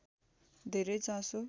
धेरै चासो